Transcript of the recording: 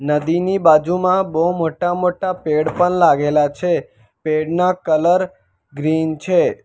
નદીની બાજુમાં બો મોટા મોટા પેડ પન લાગેલા છે પેડ ના કલર ગ્રીન છે.